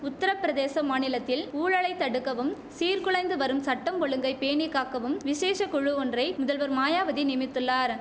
உத்திர பிரதேச மாநிலத்தில் ஊழலை தடுக்கவும் சீர் குலைந்து வரும் சட்டம் ஒழுங்கை பேணிக்காக்கவும் விசேஷ குழு ஒன்றை முதல்வர் மாயாவதி நியமித்துள்ளார்